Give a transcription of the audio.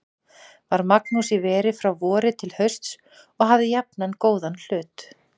Var Magnús í veri frá vori til hausts og hafði jafnan góðan hlut.